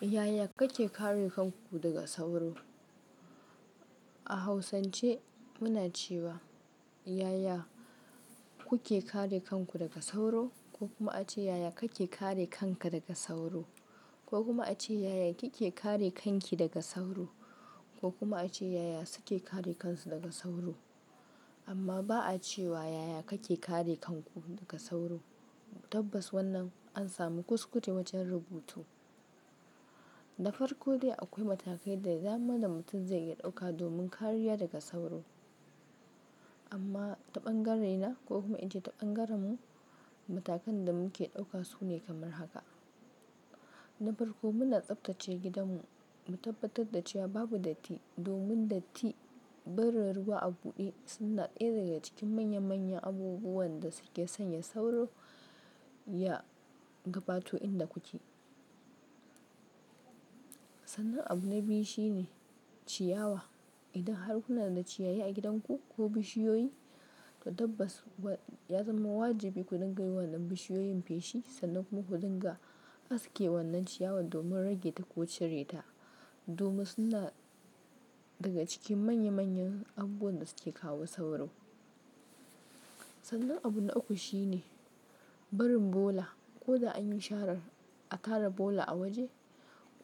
Yaya kake kare kanku daga sauro? A hausance muna cewa yaya kuke kare kanku daga sauro, ko kuma ace yaya kake kare kanka daga sauro, ko kuma ace yaya kike kare kanki daga sauro, ko kuma ace yaya suke kare kansu daga sauro. Amma ba a cewa yaya kake kare kanku daga sauro. Tabbas wannan an samu kuskute wajen rubutu. Na farko dai akwai matakai da dama da mutum zai iya ɗauka domin kariya daga sauro. Amma taɓangarre na ko kuma in ce taɓangarren mu matakan da muke ɗauka sune kamar haka. Na farko muna tsaftace gidanmu, mu tabbatar da cewa babu datti domin datti, barin ruwa a buɗe suna ɗaya daga cikin manya manyan abubuwan da suke sanya sauro ya gabato inda kuke. Sannan abu na biyu shine ciyawa. Idan har kuna da ciyaye a gidanku ko bishiyoyi, to tabbas ya zama wajibi ku dinga yi wa wannan bishiyoyin feshi sannan kuma ku dinga aske wannan ciyawan domin rage ta ko cireta domin suna daga cikin manya manyan abubuwan da suke kawo sauro. Sannan abu na uku shine barin bola ko dai anyi shara a tara bola a waje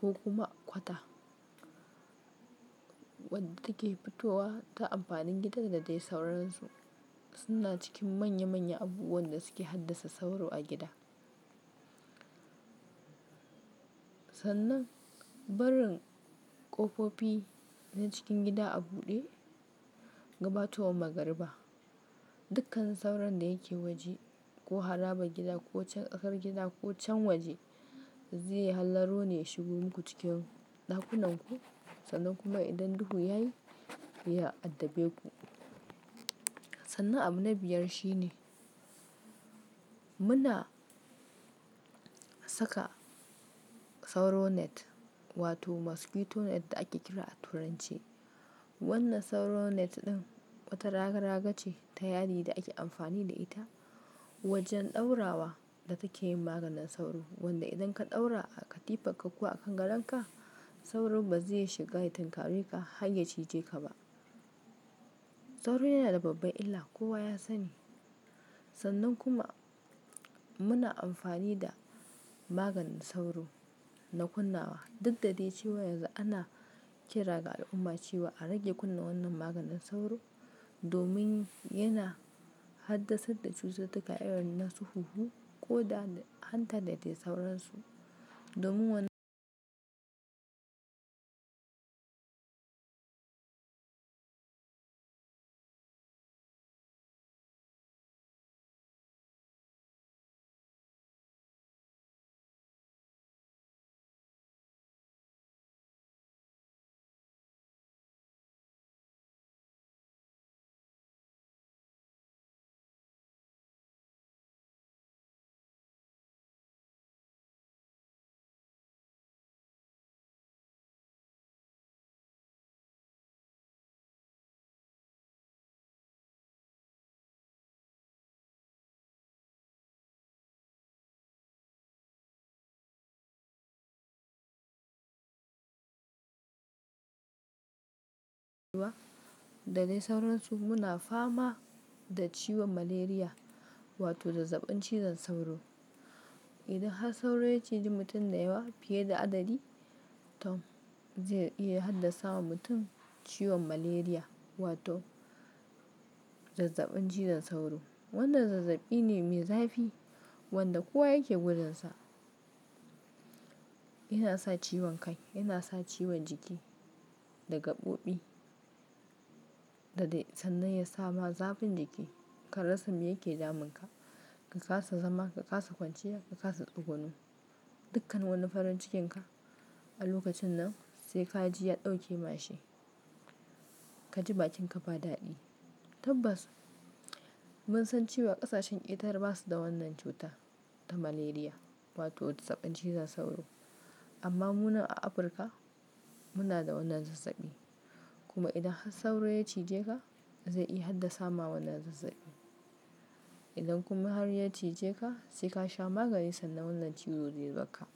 ko kuma kwata wadda take fitowa ta amfanin gidan da dai sauransu suna cikin manya manyan abubuwan da suke haddasa sauro a gida. Sannan barin ƙofofi na cikin gida a buɗe gabatowa magariba. Dukkan sauran da yake waje ko haraba gida ko can tsakar gida ko can waje zai hallaro ne ya shigo muku cikin ɗakunan ku sannan kuma idan duhu yayi ya addabe ku. Sannan abu na biyar shine muna saka sauro net wato mosquito net da ake kira a turance. Wannan sauro net ɗin wata raga raga ce ta yadi da ake amfani da ita wajen ɗaurawa da take yin maganin sauro wanda idan ka ɗaura a katifarka ko a kan gadonka sauro ba zai iya shiga ya tinkare ka har ya cije ka ba. Sauro yana da babba illa kowa ya sani. Sannan kuma muna amfani da maganin sauro na ƙunnawa. Dudda dai cewa yanzu ana kira ga al'umma cewa a rage kunna wannan maganin sauro domin yana haddasa da cututtuka irin na su huhu ko da hanta da dai sauransu. Domin wannan da dai sauransu muna fama da ciwon malaria wato da zazzabin cizon sauro. Idan har sauro ya cije mutum da yawa fiye da adadi to zai iya haddasa wa mutum ciwon malaria wato zazzabin cizon sauro. Wannan zazzabi ne mai zafi wanda kowa yake gudansa. Yana sa ciwon kai, yana sa ciwon jiki da gabobi da dai sannan ya sama zafin jiki. Karasa me yake damun ka, ka kasa zama, ka kasa kwanciya, ka kasa tsuguno dukkan wani farin cikin ka a lokacin nan sai ka ji ya ɗauke mashi. Ka ji bakin ka ba daɗi. Tabbas mun san cewa ƙasashen ƙetare ba su da wannan cuta ta malaria wato zazzabin cizon sauro. Amma mu nan a Afirka muna da wannan zazzabi kuma idan har sauro ya cije ka zai iya haddasa wa wannan zazzabi. Idan kuma har ya cije ka sai ka sha maganin sannan wannan cutar zai bar ka.